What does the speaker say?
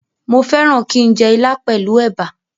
Mo fẹ́ràn kí n jẹ ilá pẹ̀lú ẹ̀bà